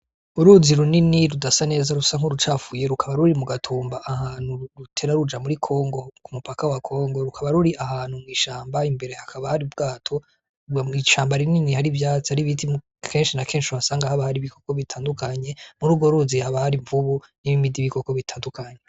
Uruzi runini rudasa neza rusa nk'urucafuye rukaba ruri mu gatumba ahantu rutera ruja muri kongo ku mupaka wa kongo rukaba ruri ahantu mw'ishamba imbere hakabari bwato mw'isamba rinini hari ivyati ari ibiti mu kenshi na kenshiabasanga haba hari ibikoko bitandukanye muri ugo ruzi habari mvubu n'iboimidi bikoko bitandukanya.